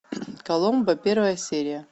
коломбо первая серия